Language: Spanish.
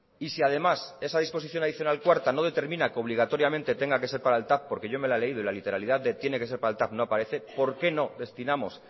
y si además esa disposición adicional cuarta no determina que obligatoriamente tenga que ser para el tav porque yo me la he leído y la literalidad de tiene que ser para el tav no aparece por qué no destinamos